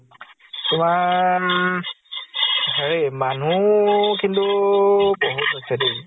তোমাৰ হেৰি মানুহ কিন্তু বহুত হৈছে দেই ।